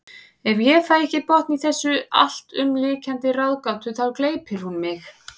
Ef ég fæ ekki botn í þessa alltumlykjandi ráðgátu þá gleypir hún mig.